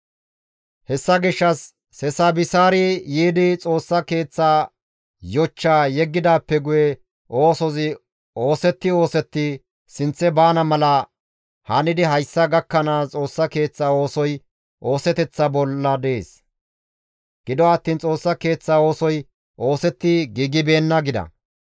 Hessa gishshas Sesabisaarey yiidi Xoossa Keeththa yochchaa yeggidaappe guye oosozi oosetti oosetti sinththe baana mala hanidi hayssa gakkanaas Xoossa Keeththa oosoy ooseteththa bolla dees; gido attiin Xoossa Keeththa oosoy oosetti giigibeenna› gida.